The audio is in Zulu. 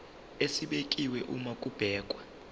esibekiwe uma kubhekwa